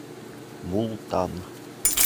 мултан